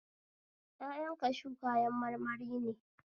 Ƴaƴan kashu kayan marmari ne